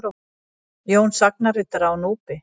Jón sagnaritara á Núpi.